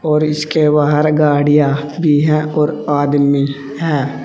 और इसके बाहर गाड़ियां भी हैं और आदमी है।